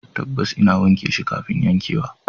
Tabbas, ina wanke shi kafin yankewa